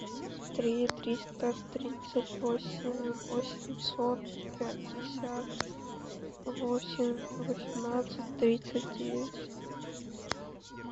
три триста тридцать восемь восемьсот пятьдесят восемь восемнадцать тридцать девять